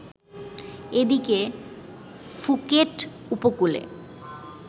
এদিকে ফুকেট উপকূলে